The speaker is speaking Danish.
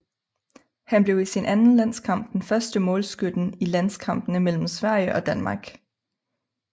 Han blev i sin anden landskamp den første målskytten i landskampene mellem Sverige og Danmark